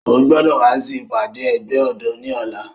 O gbọdọ wa si ipade ẹgbẹ ọdọ ni ọla!